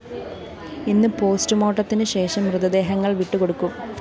ഇന്ന് പോസ്റ്റുമോര്‍ട്ടത്തിന് ശേഷം മൃതദേഹങ്ങള്‍ വിട്ടുകൊടുക്കും